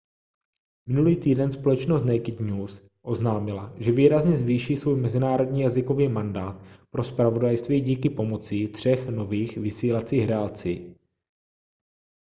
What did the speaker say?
minulý týden společnost naked news oznámila že výrazně zvýší svůj mezinárodní jazykový mandát pro zpravodajství díky pomocí třech nových vysílacích relací